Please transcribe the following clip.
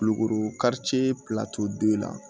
Kulukoro don in na